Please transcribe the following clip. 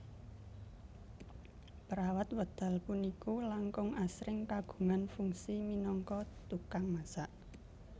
Perawat wekdal puniku langkung asring kagungan fungsi minangka tukang masak